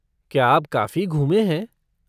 क्या आप काफ़ी घूमे हैं?